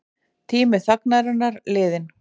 Tími þagnarinnar liðinn